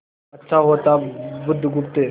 अच्छा होता बुधगुप्त